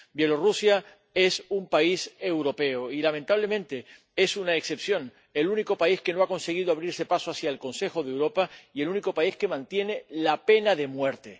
Bielorrusia es un país europeo y, lamentablemente, es una excepción, el único país que no ha conseguido abrirse paso hacia el Consejo de Europa, y el único país que mantiene la pena de muerte.